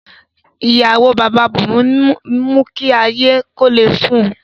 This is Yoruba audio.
Iyawo Baba Bunmi n mu ki aye ko le fun u